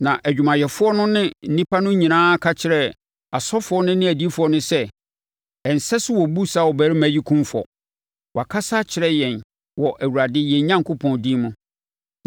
Na adwumayɛfoɔ no ne nnipa no nyinaa ka kyerɛɛ asɔfoɔ no ne adiyifoɔ no sɛ, “Ɛnsɛ sɛ wɔbu saa ɔbarima yi kumfɔ! Wakasa akyerɛ yɛn wɔ Awurade, yɛn Onyankopɔn din mu.”